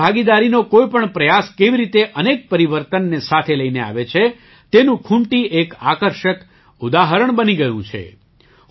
જનભાગીદારીનો કોઈ પણ પ્રયાસ કેવી રીતે અનેક પરિવર્તનને સાથે લઈને આવે છે તેનું ખૂંટી એક આકર્ષક ઉદાહરણ બની ગયું છે